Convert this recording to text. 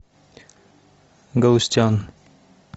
галустян